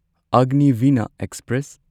Agniveena express